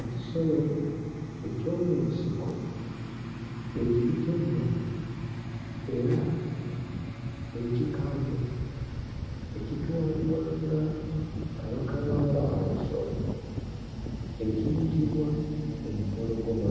Ekisolo eky'omu nsiko ekiryi ky'ennyama era ekikambwe ekitwalibwa nga kabaka wa bawansolo ekiyitibwa empologoma